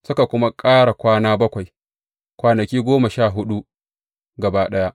Suka kuma ƙara kwana bakwai, kwanaki goma sha huɗu gaba ɗaya.